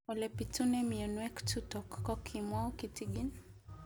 Ole pitune mionwek chutok ko kimwau kitig'�n